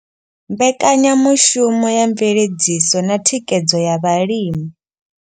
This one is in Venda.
Mbekanyamushumo ya mveledziso na thikhedzo ya vhalimi.